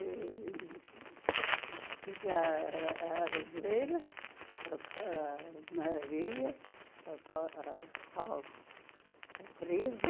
e e tinha a a Elvira, a a Maria, a pal a pal aTeresa,